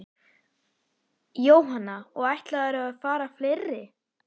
Jóhanna: Og ætlarðu að fara fleiri?